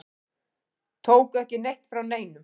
Tóku ekki neitt frá neinum.